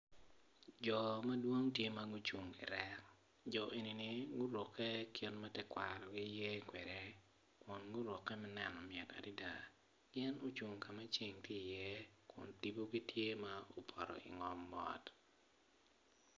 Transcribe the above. Jo ma dwong gitye gucung i rek jo eni gitye gurukke kit ma tekwarogi yee kwede kun gurukke ma neno mit adada.